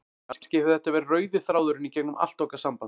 Kannski hefur þetta verið rauði þráðurinn í gegnum allt okkar samband.